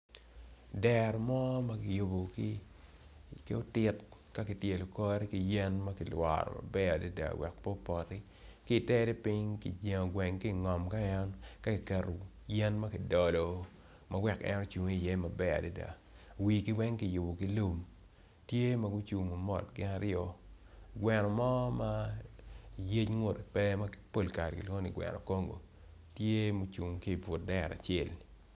Dero mo ma kiyubo ki otit ka kityelo kore ki yen ma kilworo maber adada wek pe opoti ki tere piny kijengo gweng ki ngom ka ki keto yen ma ki dolo ma wek en ocung i iye maber adada wigi weng kiyubo ki lum tye ma gucungo mot gin aryo gweno mo ma yec ngutgi pe ma pol kare kilwongogi ni gweno Congo tye mucung ki but dero acel-li.